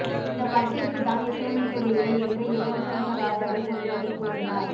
இந்த படத்திற்கு தான் இசையமைக்கவில்லை என்று யுவன்ஷங்கர் ராஜாவே சமீபத்தில் கூறினார்